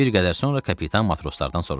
Bir qədər sonra kapitan matroslardan soruşdu.